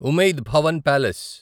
Umaid Bhawan palace